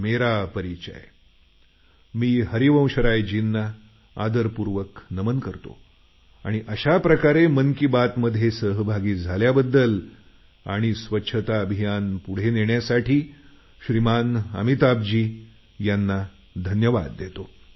मी हरिवंशरायजींना आदरपूर्वक नमन करतो आणि अशा प्रकारे मन की बातमध्ये सहभागी झाल्याबद्दल स्वच्छता अभियान पुढे नेण्यासाठी श्रीमान अमिताभजींना धन्यवाद देतो